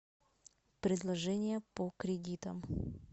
предложение по кредитам